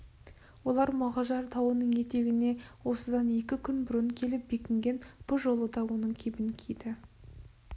олар мұғажар тауының етегіне осыдан екі күн бұрын келіп бекінген бұ жолы да соның кебін киді